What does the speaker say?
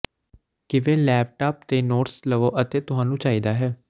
ਕਿਵੇਂ ਲੈਪਟੌਪ ਤੇ ਨੋਟਸ ਲਵੋ ਅਤੇ ਤੁਹਾਨੂੰ ਚਾਹੀਦਾ ਹੈ